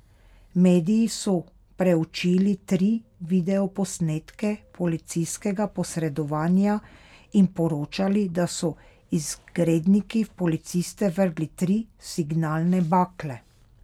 Mediji so preučili tri videoposnetke policijskega posredovanja in poročali, da so izgredniki v policiste vrgli tri signalne bakle.